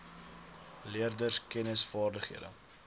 leerders kennis vaardighede